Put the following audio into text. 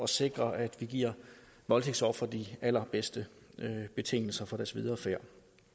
sikre at vi giver voldtægtsofre de allerbedste betingelser for deres videre færd